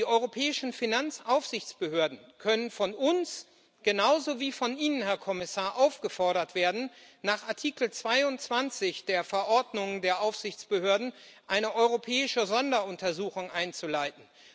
Die europäischen Finanzaufsichtsbehörden können von uns genauso wie von Ihnen, Herr Kommissar, aufgefordert werden, nach Artikel 22 der Verordnung der Aufsichtsbehörden eine europäische Sonderuntersuchung einzuleiten.